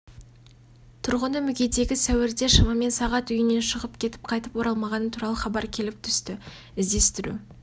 тұрғыны мүгедегі сәуірде шамамен сағат үйінен шығып кетіп қайтып оралмағаны туралы хабар келіп түсті іздестіру